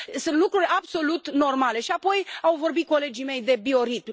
Sunt lucruri absolut normale și, apoi, au vorbit colegii mei de bioritm.